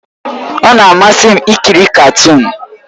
Ọ na-amasị m ikiri katuun